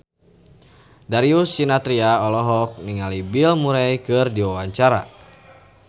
Darius Sinathrya olohok ningali Bill Murray keur diwawancara